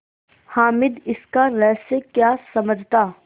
हामिद इसका रहस्य क्या समझता